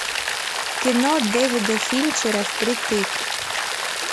кино дэвида финчера впритык